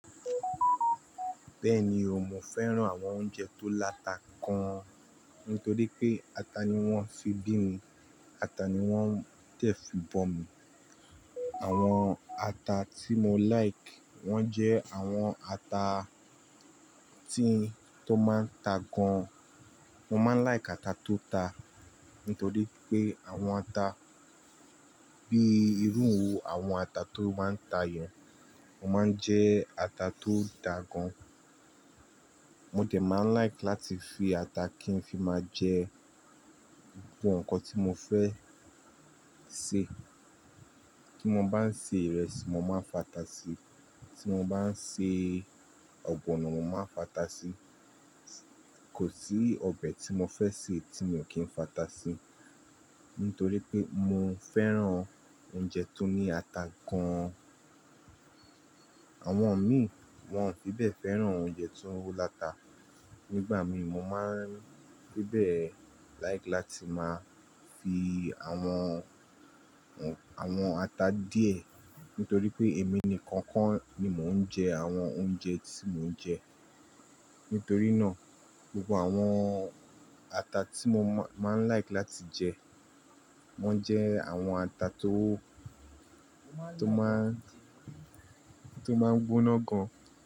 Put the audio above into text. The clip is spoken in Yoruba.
Bẹ́ẹ̀ni o, mo fẹ́ràn àwọn oúnjẹ tó láta gan, nítorí pé ata ni wọ́n fi bí mi, ata ni wọ́n tẹ̀ fi bọ̀ mí. Àwọn ata tí mo like, wọ́n jẹ́ àwọn ata tí-- tó máa ń ta gan. Mo máa ń like ata tó ta, nítorí pé àwọn ata bíi irú àwọn ata tó máa ń ta yẹn, wọ́n máa ń jẹ́ ata tó dá gan. Mo dẹ̀ máa ń like láti fi ata kí n fi máa jẹ gbogbo nǹkan tí mo fẹ́ ṣe. Tí mo bá ń ṣe ìrẹsì, mo máa ń fa ata sí, tí mo bá ń ṣe ọ̀gbọ̀nọ̀, mo máa ń fa ata sí. Kò sí ọbẹ̀ tí mo fẹ́ sè tí mo kì í fa ata sí, nítorí pé mo fẹ́ràn oúnjẹ tó ní ata gan. Àwọn mi, wọ́n ò fí bẹ́ẹ̀ fẹ́ràn oúnjẹ tó láta. Nígbà mi, mo máa ń gbé bẹ́ẹ̀ like láti máa fi àwọn, àwọn ata díẹ̀, nítorí pé èmi nìkan kan ni mò ń jẹ àwọn oúnjẹ tí mò ń jẹ. Nítorí náà, gbogbo àwọn ata tí mo máa ń like láti jẹ, wọ́n jẹ́ àwọn ata tó, tó máa ń, tó máa ń gbóná gan.